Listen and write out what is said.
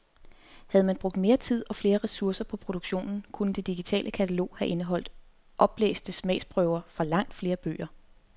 Havde man brugt mere tid og flere ressourcer på produktionen, kunne det digitale katalog have indeholdt oplæste smagsprøver fra langt flere bøger.